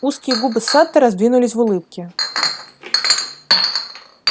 узкие губы сатта раздвинулись в улыбке